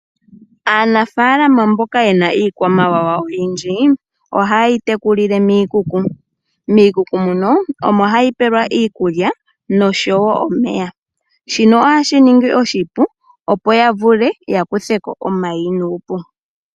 Aanafaalama mboka yena iikwamawawa oyindji, ohaye yi tekulile miikuku. Miikuku muno, omo hayi pewelwa iikulya osho wo omeya. Shino ohashi ningi oshipu opo ya vule ya kuthe ko omayi nuupu.